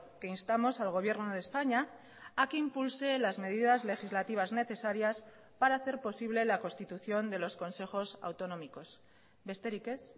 que instamos al gobierno de españa a que impulse las medidas legislativas necesarias para hacer posible la constitución de los consejos autonómicos besterik ez